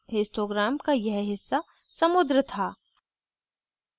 histogram का यह हिस्सा समुद्र था